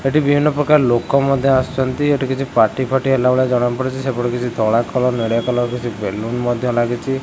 ଏଠି ବିଭିନ୍ନ ପ୍ରକାର ଲୋକ ମଧ୍ୟ ଆସୁଚନ୍ତି ଏଠି କିଛି ପାର୍ଟି ଫାଟି ହେଲା ଭଳିଆ ଜଣାପଡୁଚି ସେପଟେ କିଛି ଧଳା କଲର୍ ନେଳିଆ କଲର୍ କିଛି ବେଲୁନ୍ ମଧ୍ୟ ଲାଗିଚି।